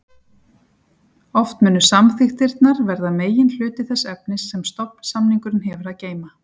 Oft munu samþykktirnar verða meginhluti þess efnis sem stofnsamningurinn hefur að geyma.